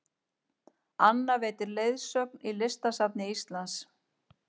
Anna veitir leiðsögn í Listasafni Íslands